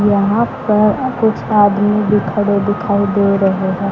यहां पर कुछ आदमी भी खड़े दिखाई दे रहे हैं।